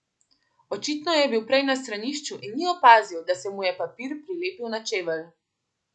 Očitno je bil prej na stranišču in ni opazil, da se mu je papir prilepil na čevelj.